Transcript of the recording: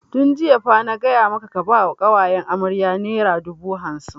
Tun jiya fa na gaya maka ka ba wa ƙawayen amarya naira dubu hamsin!